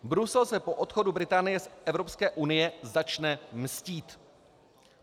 Brusel se po odchodu Británie z Evropské unie začne mstít.